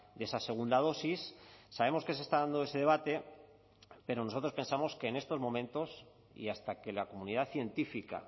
de esa segunda dosis sabemos que se está dando ese debate pero nosotros pensamos que en estos momentos y hasta que la comunidad científica